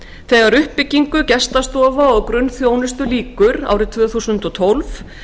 þegar uppbyggingu gestastofa og grunnþjónustu lýkur árið tvö þúsund og tólf